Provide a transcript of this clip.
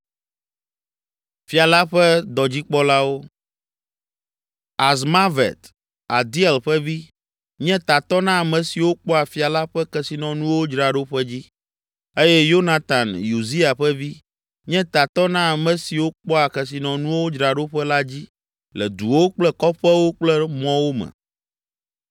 Azmavet, Adiel ƒe vi, nye tatɔ na ame siwo kpɔa fia la ƒe kesinɔnuwo dzraɖoƒe dzi eye Yonatan, Uzia ƒe vi, nye tatɔ na ame siwo kpɔa kesinɔnuwo dzraɖoƒe la dzi le duwo kple kɔƒewo kple mɔwo me.